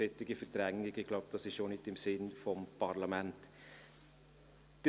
Ich glaube, das ist auch nicht im Sinne des Parlaments.